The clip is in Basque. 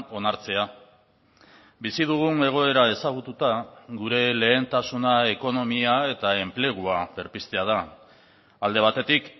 onartzea bizi dugun egoera ezagututa gure lehentasuna ekonomia eta enplegua berpiztea da alde batetik